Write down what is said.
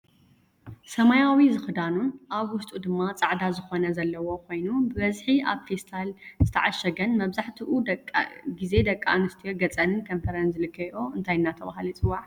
ሰማያዊ ዝክዳኑን ኣብ ውሽጡ ድማ ፃዕዳ ዝኮነ ዘለዎ ኮይኑ ብበዝሒ ኣብ ፊስታል ዝተዓሸገን መብዛሐቲኡ ግዜ ደቂ ኣንስትዮ ገፀንን ከንፈረንን ዝልከየኦ እንታይ እናተባህለ ይፍለጥ ይፅዋዕ?